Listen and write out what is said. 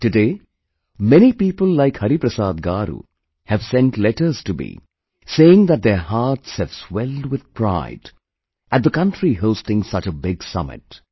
Today, many people like Hariprasad Garu have sent letters to me saying that their hearts have swelled with pride at the country hosting such a big summit